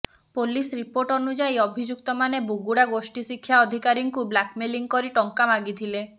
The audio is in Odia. ପୋଲିସ ରିପୋର୍ଟ ଅନୁଯାୟୀ ଅଭିଯୁକ୍ତମାନେ ବୁଗୁଡା ଗୋଷ୍ଠୀ ଶିକ୍ଷା ଅଧିକାରୀଙ୍କୁ ବ୍ଲାକ୍ମେଲିଂ କରି ଟଙ୍କା ମାଗିଥିଲେ